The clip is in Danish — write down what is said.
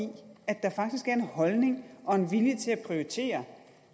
at der faktisk er en holdning og en vilje til at prioritere